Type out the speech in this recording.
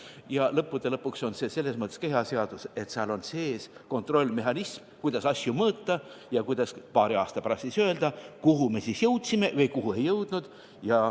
Ja lõppude lõpuks on see selles mõttes ka hea seadus, et seal on sees kontrollmehhanism, kuidas asju mõõta ja millele toetudes paari aasta pärast öelda, kuhu me jõudsime ja kuhu ei jõudnud.